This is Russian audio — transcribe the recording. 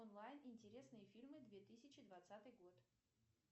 онлайн интересные фильмы две тысячи двадцатый год